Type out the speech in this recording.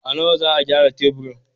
A nawa za a gyara taburin?